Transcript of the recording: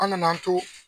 An nana an to